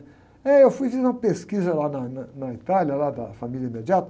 É, eu fui fazer uma pesquisa lá na, na, na Itália, lá da família.